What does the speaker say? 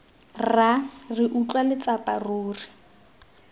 rra re utlwa letsapa ruri